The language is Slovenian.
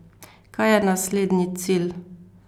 Kaj je naslednji cilj?